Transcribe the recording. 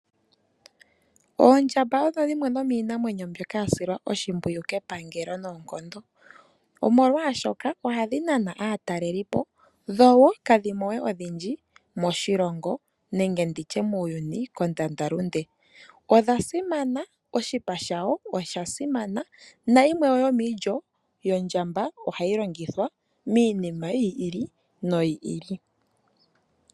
Oondjamba odho dhimwe dhomiinamwenyo mbyoka ya silwa oshimpwiyu kepangalo noonkondo, omolwaashoka ohadhi nana aatalelipo dho kadhi mo odhindji moshilongo nenge muuyuni kondandalunde. Odha simana, oshipa shayo oshasimana nayimwe yomiilyo yondjamba, ohayi longithwa miinima yiili noyili.